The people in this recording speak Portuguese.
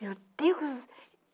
Meu Deus!